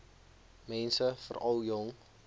mense veral jong